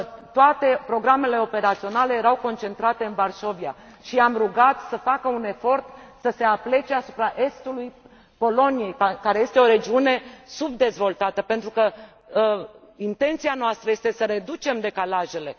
Toate programele operaționale erau concentrate în Varșovia și i am rugat să facă un efort să se aplece asupra estului Poloniei, care este o regiune subdezvoltată, pentru că intenția noastră este să reducem decalajele.